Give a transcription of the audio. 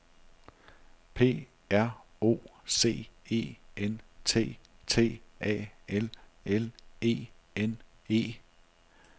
P R O C E N T T A L L E N E